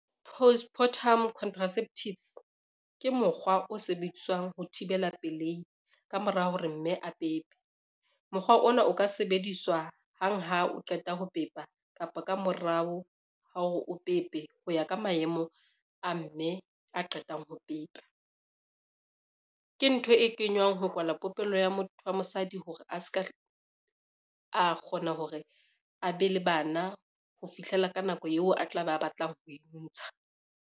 Postpartum contraceptives, ke mokgwa o sebediswang ho thibela pelehi ka mora hore mme a pepe. Mokgwa ona o ka sebediswa hang ha o qeta ho pepa kapa ka morao ha ore o pepe ho ya ka maemo a mme a qetang ho pepa. Ke ntho e kenywang ho kwalwa popelo ya motho wa mosadi hore a ska a kgona hore a be le bana ho fihlela ka nako eo a tla be a batlang ho e ntsha.